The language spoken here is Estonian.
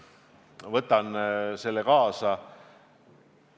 Võtan selle kaasa.